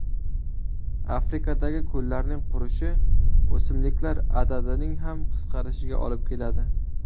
Afrikadagi ko‘llarning qurishi o‘simliklar adadining ham qisqarishiga olib keladi.